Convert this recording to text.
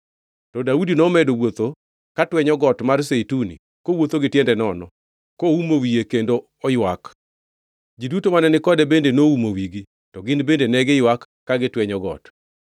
To Daudi nomedo wuotho ka twenyo got mar Zeituni kowuotho gi tiende nono, koumo wiye kendo oywak. Ji duto mane ni kode bende noumo wigi, to gin bende ne giywak ka gitwenyo got.